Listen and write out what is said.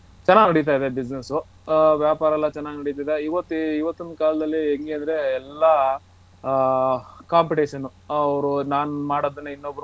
ಚೆನ್ನಾಗ ನೆಡಿತಿದೆ business ಹ ವ್ಯಾಪಾರ ಎಲ್ಲ ಚೆನ್ನಾಗ ನೆಡಿತಿದೆ ಇವತ್ತು ಇವತ್ತಿನ ಕಾಲದಲ್ಲಿ ಹೆಂಗದ್ರೆ ಎಲ್ಲ ಹಾ competition ಅವರು ನಾನ್ ಮಾಡೋದನ್ನೇ ಇನ್ನೊಬ್ರು ಮಾಡುದು.